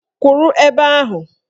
Kwuru ebe ahụ!